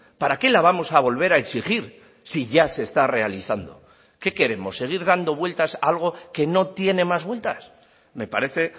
para qué la vamos a volver a exigir si ya se está realizando qué queremos seguir dando vueltas a algo que no tiene más vueltas me parece